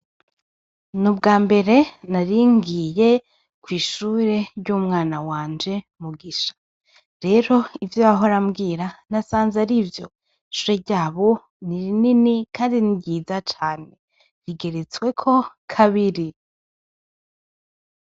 N’ubwambere naringiye kw'ishure ry'umwana wanje Mugisha. Rero ivyo yahora ambwira nasanze ari vyo, ishure ryabo ni rinini kandi ni ryiza cane, rigeretsweko kabisa.